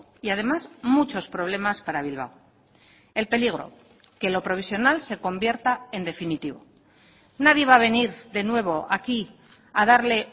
y además muchos problemas para bilbao el peligro que lo provisional se convierta en definitivo nadie va a venir de nuevo aquí a darle